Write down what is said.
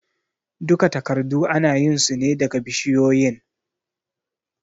Duka takardu anayin sune daga bishiyoyin